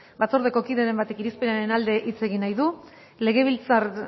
batzordeko kideren batek irizpenaren alde hitz egin nahi du legebiltzar